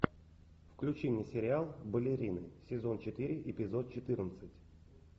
включи мне сериал балерины сезон четыре эпизод четырнадцать